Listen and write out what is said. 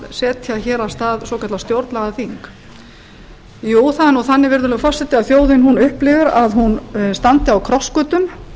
setja hér af stað svokallað stjórnlagaþing jú það er þannig virðulegur forseti að þjóðin upplifir að hún standi á krossgötum